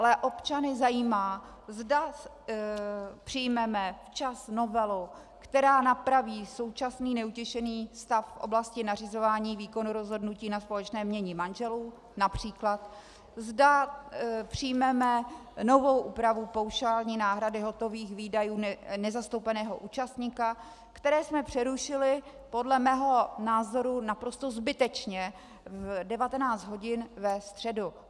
Ale občany zajímá, zda přijmeme včas novelu, která napraví současný neutěšený stav v oblasti nařizování výkonu rozhodnutí na společné jmění manželů například, zda přijmeme novou úpravu paušální náhrady hotových výdajů nezastoupeného účastníka, které jsme přerušili podle mého názoru naprosto zbytečně v 19 hodin ve středu.